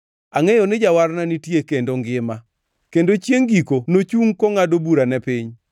Angʼeyo ni Jawarna nitie kendo ngima, kendo chiengʼ giko nochungʼ kongʼado bura ne piny.